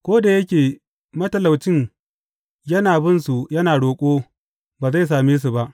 Ko da yake matalaucin yana binsu yana roƙo, ba zai sam su ba.